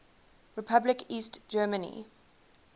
republic east germany